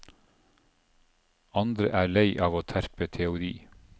Andre er lei av å terpe teori.